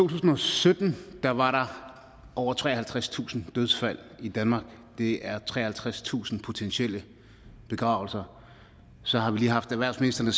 tusind og sytten var der over treoghalvtredstusind dødsfald i danmark det er treoghalvtredstusind potentielle begravelser så har vi lige haft erhvervsministeren